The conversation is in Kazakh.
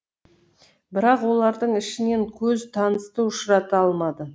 бірақ олардың ішінен көз танысты ұшырата алмады